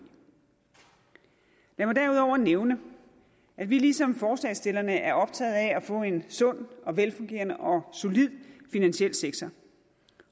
lad mig derudover nævne at vi ligesom forslagsstillerne er optaget af at få en sund velfungerende og solid finansiel sektor